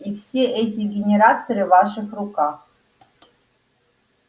и все эти генераторы в ваших руках